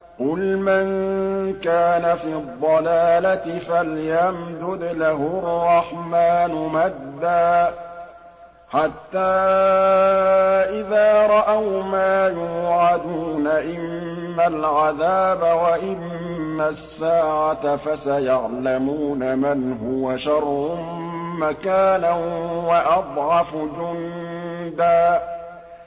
قُلْ مَن كَانَ فِي الضَّلَالَةِ فَلْيَمْدُدْ لَهُ الرَّحْمَٰنُ مَدًّا ۚ حَتَّىٰ إِذَا رَأَوْا مَا يُوعَدُونَ إِمَّا الْعَذَابَ وَإِمَّا السَّاعَةَ فَسَيَعْلَمُونَ مَنْ هُوَ شَرٌّ مَّكَانًا وَأَضْعَفُ جُندًا